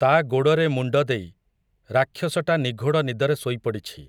ତା ଗୋଡ଼ରେ ମୁଣ୍ଡ ଦେଇ, ରାକ୍ଷସଟା ନିଘୋଡ଼ ନିଦରେ ଶୋଇ ପଡ଼ିଛି ।